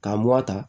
K'a mura ta